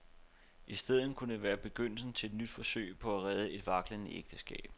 I stedet kunne det være begyndelsen til et nyt forsøg på at redde et vaklende ægteskab.